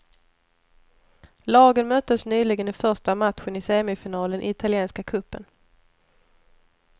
Lagen möttes nyligen i första matchen i semifinalen i italienska cupen.